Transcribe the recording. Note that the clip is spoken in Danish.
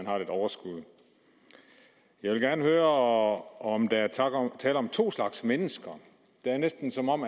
har lidt overskud jeg vil gerne høre om der er tale om to slags mennesker det er næsten som om